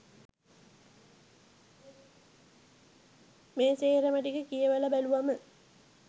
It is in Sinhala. මේ සේරම ටික කියවල බැලුවම